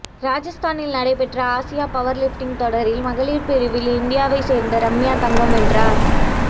ராஜஸ்தானில் நடைபெற்ற ஆசிய பவர்லிப்ட்டிங் தொடரில் மகளிர் பிரிவில் இந்தியாவை சேர்ந்த ரம்யா தங்கம் வென்றார்